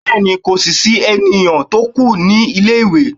bẹẹni, ko si sí enìyan to kù ní ilé ìwé